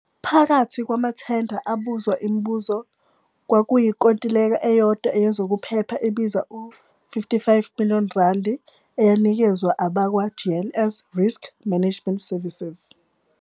Phakathi kwamathenda abuzwa imibuzo kwakuyinkontileka eyodwa yezokuphepha ebiza u-ZAR 55 million, eyanikezwa abakwa-GNS Risk Management Services.